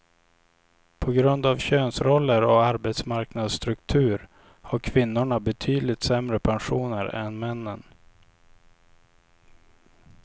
På grund av könsroller och arbetsmarknadsstruktur har kvinnorna betydligt sämre pensioner än männen.